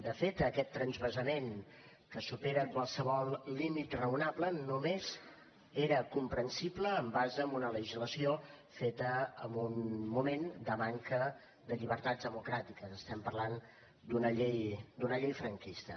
de fet aquest transvasament que supera qualsevol límit raonable només era comprensible en base a una legislació feta en un moment de manca de llibertats democràtiques estem parlant d’una llei franquista